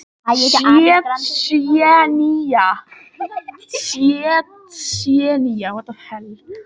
á þessu korti sést tsjetsjenía með gulum lit